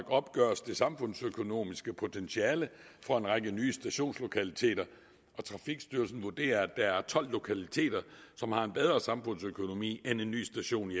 opgøres det samfundsøkonomiske potentiale for en række nye stationslokaliteter og trafikstyrelsen vurderer at der er tolv lokaliteter som har en bedre samfundsøkonomi end en ny station i